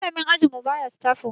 malamin ajinmu baya staf room